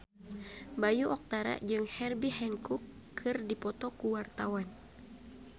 Bayu Octara jeung Herbie Hancock keur dipoto ku wartawan